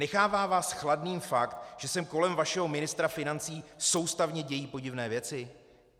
Nechává vás chladným fakt, že se kolem vašeho ministra financí soustavně dějí podivné věci?